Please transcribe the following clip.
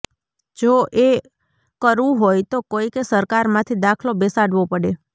જો એ કરવું હોય તો કોઈકે સરકારમાંથી દાખલો બેસાડવો પડે